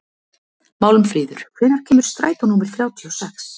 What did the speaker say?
Málmfríður, hvenær kemur strætó númer þrjátíu og sex?